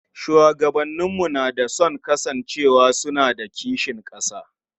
Shugabanninmu na da sun kasance suna da kishin ƙasa.